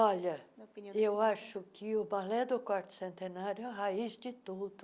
Olha, eu acho que o Balé do Quarto Centenário é a raiz de tudo.